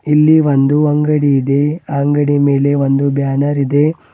ಇಲ್ಲಿ ಒಂದು ಅಂಗಡಿ ಇದೆ ಆ ಅಂಗಡಿ ಮೇಲೆ ಒಂದು ಬ್ಯಾನರ ಇದೆ.